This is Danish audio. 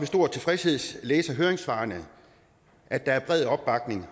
stor tilfredshed læse i høringssvarene at der er bred opbakning